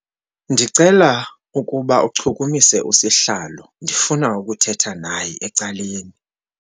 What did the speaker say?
Ndicela ukuba uchukumise usihlalo ndifuna ukuthetha naye ecaleni.